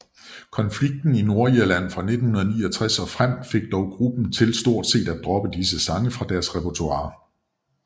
Konflikten i Nordirland fra 1969 og frem fik dog gruppen til stort set at droppe disse sange fra deres repertoire